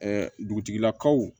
dugutigilakaw